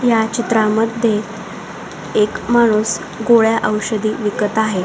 ह्या चित्रामध्ये एक माणूस गोळ्या ओषधे विकत आहे.